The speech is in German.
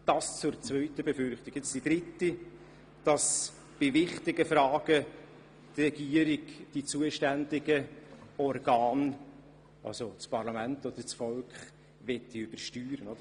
Drittens wird befürchtet, dass die Regierung die zuständigen Organe, also Parlament oder Volk, bei wichtigen Fragen übersteuern möchte.